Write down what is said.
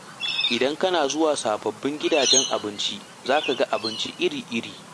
Idan kana zuwa sabbin gidajen abinci, za ka ga abinci iri-iri.